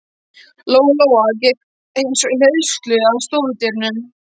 Lóa Lóa gekk eins og í leiðslu að stofudyrunum.